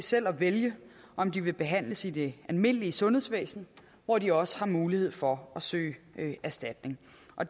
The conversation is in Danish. selv at vælge om de vil behandles i det almindelige sundhedsvæsen hvor de også har mulighed for at søge erstatning